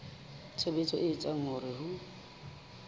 tshebetso e etsang hore ho